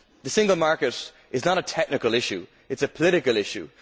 The single market is not a technical issue, it is a political issue.